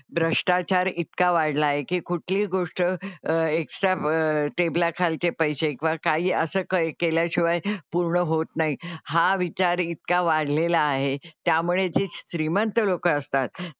भ्रष्टाचार इतका वाढला आहे की कुठली गोष्ट अं एक्सट्रा टेबला खालचे पैसे किंवा काही असं केल्याशिवाय पूर्ण होत नाही हा विचार इतका वाढलेला आहे त्यामुळे जी श्रीमंत लोकं असतात,